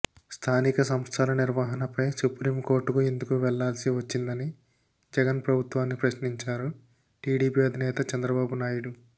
స్థానిక సంస్థల నిర్వహణపై సుప్రీంకోర్టుకు ఎందుకు వెళ్లాల్సి వచ్చిందని జగన్ ప్రభుత్వాన్ని ప్రశ్నించారు టీడీపీ అధినేత చంద్రబాబు నాయుడు